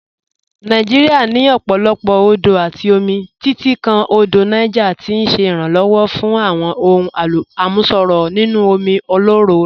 Nàìjíríà ní ọ̀pọ̀lọpọ̀ odò àti omi, títí kan Odò Niger tí ń ṣèrànwọ́ fún àwọn ohun àmúṣọrọ̀ inú omi ọlọ́rọ̀ rẹ̀.